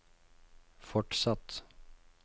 fortsatt